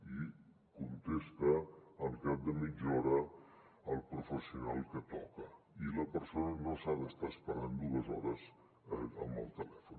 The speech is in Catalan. i contesta al cap de mitja hora el professional que toca i la persona no s’ha d’estar esperant dues hores amb el telèfon